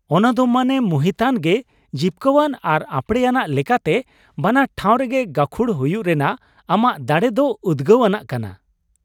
ᱚᱱᱟ ᱫᱚ ᱢᱚᱱᱮ ᱢᱩᱦᱤᱛᱟᱱ ᱜᱮ ᱾ ᱡᱤᱯᱠᱟᱹᱣᱟᱱ ᱟᱨ ᱟᱯᱲᱮᱭᱟᱱᱟᱜ ᱞᱮᱠᱟᱛᱮ ᱵᱟᱱᱟᱨ ᱴᱷᱟᱶ ᱨᱮᱜᱮ ᱜᱟᱹᱠᱷᱩᱲ ᱦᱩᱭᱩᱜ ᱨᱮᱱᱟᱜ ᱟᱢᱟᱜ ᱫᱟᱲᱮ ᱫᱚ ᱩᱫᱜᱟᱹᱣ ᱟᱱᱟᱜ ᱠᱟᱱᱟ ᱾